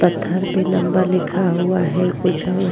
पत्थर पे नंबर लिखा हुआ है कुछ और --